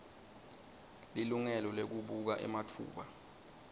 lilungelo lekubuka ematfuba